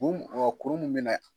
kuru a wa kuru mun be na .